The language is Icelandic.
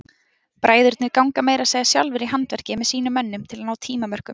Bræðurnir ganga meira að segja sjálfir í handverkið með sínum mönnum til að ná tímamörkum.